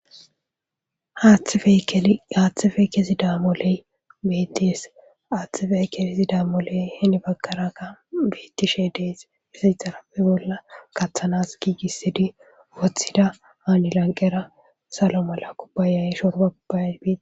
Haaththife kesi damoley bedees aaththifey kesi damoley hini baggaraga biittishe dees izi xarabe bolla kaththanas giigissidi woththida haani lanqera salo mala kubbayay shorba ubbay biti.